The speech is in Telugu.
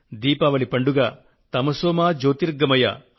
దీపావళి పండుగ తమసో మ జ్యోతిర్గమయ